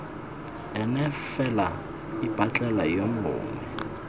ene fela ipatlele yo mongwe